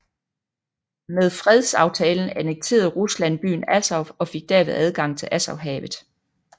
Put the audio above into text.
Med fredsaftalen annekterede Rusland byen Azov og fik derved adgang til Azovhavet